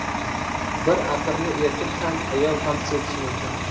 Bir atirni erkak ham, ayol ham sepishi mumkin.